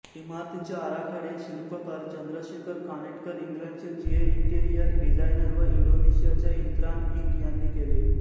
इमारतीचे आराखडे शिल्पकार चंद्रशेखर कानेटकर इंग्लंडचे जीए इंटिरियर डिझायनर व इंडोनेशियाच्या इंत्रान इंक यांनी केले